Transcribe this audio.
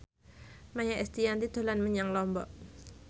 Maia Estianty dolan menyang Lombok